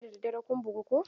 Jiya da daddare kun bugu ko?